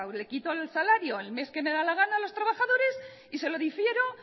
le quito el salario el mes que me da la gana a los trabajadores y se lo difiero